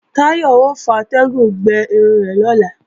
Táyọ̀ ò fatẹ́gùn gbẹ irun rẹ̀ lọ́la